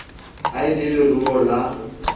ha e le leruo la